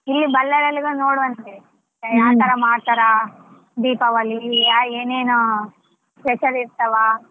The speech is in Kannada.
ಇಲ್ಲೇ Bellary ಅಲ್ಲಿ ನೋಡುವಂತರಿ ಯಾವ್ತರ ಮಾಡ್ತಾರ ದೀಪಾವಳಿ ಏನೇನೋ special ಇರ್ತವಾ.